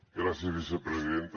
gràcies vicepresidenta